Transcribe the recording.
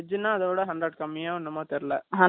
hundred கம்மின்னா இதலாம் சாப்பிட முடியாதுல